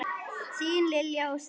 Þín Lilja og Stefán.